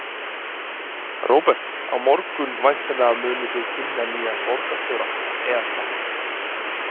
Róbert: Á morgun væntanlega munið þið kynna nýjan borgarstjóra, eða hvað?